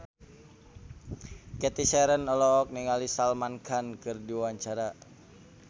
Cathy Sharon olohok ningali Salman Khan keur diwawancara